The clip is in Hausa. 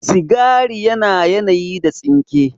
Sigari yana yanayi da tsinke